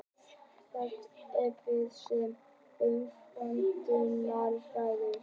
Hélt yfir þeim umvöndunarræður.